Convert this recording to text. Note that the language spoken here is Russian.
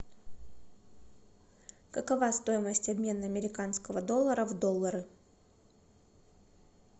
какова стоимость обмена американского доллара в доллары